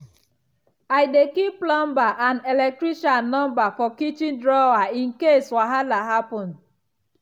i dey keep plumber and electrician number for kitchen drawer in case wahala happen.